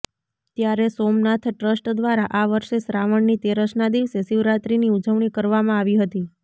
ત્યારે સોમનાથ ટ્રસ્ટ દ્વારા આ વર્ષે શ્રાવણની તેરસનાં દિવસે શિવરાત્રીની ઉજવણી કરવામાં આવી હતી